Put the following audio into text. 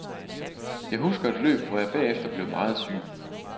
Jeg husker et løb, hvor jeg bagefter blev meget syg.